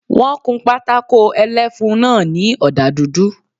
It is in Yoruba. Wọ́n kun pátákó ẹlẹ́fun náà ní ọ̀dà dúdú